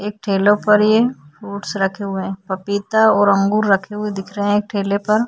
एक ठेले पर ये फ्रुट्स रखे हुए हैं। पपीता और अंगूर रखे हुए दिख रहे हैं एक ठेले पर।